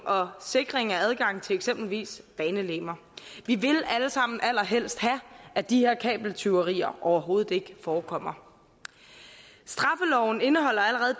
og sikring af adgang til eksempelvis banelegemer vi vil alle sammen allerhelst have at de her kabeltyverier overhovedet ikke forekommer straffeloven indeholder allerede